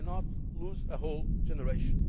we cannot lose a whole generation.